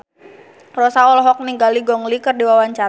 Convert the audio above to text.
Rossa olohok ningali Gong Li keur diwawancara